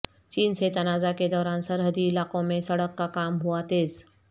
چین سے تنازعہ کے دوران سرحدی علاقوں میں سڑک کا کام ہوا تیز